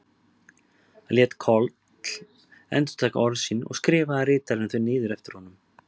Hann lét Koll endurtaka orð sín og skrifaði ritarinn þau niður eftir honum.